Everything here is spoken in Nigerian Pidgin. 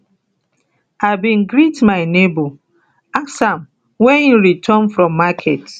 i bin greet my nebo ask am wen im return from market